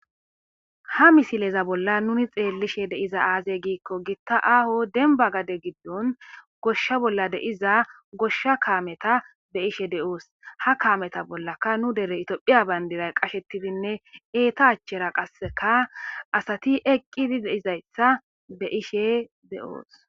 Ha misileza bolla nuuni xeelishe deizay aaze giiko ahho dembba gaade giidon goshsha bolla deizza goshsha kaametta be'oss ha kaametta bollaka nu deere tophphiya bandiray eeta achchara qasse assati eqqidi diizayssa beishshe de'oss.